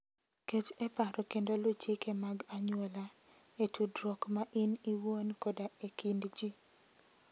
Ket e paro kendo luw chike mag anyuola e tudruok ma in iwuon koda e kind ji.